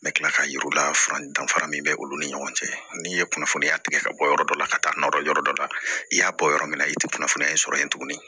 N bɛ kila k'a yiriwala danfara min bɛ olu ni ɲɔgɔn cɛ n'i ye kunnafoniya tigɛ ka bɔ yɔrɔ dɔ la ka taa nɔfɛ yɔrɔ dɔ la i y'a bɔ yɔrɔ min na i tɛ kunnafoniya sɔrɔ yen tuguni